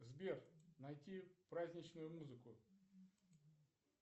сбер найти праздничную музыку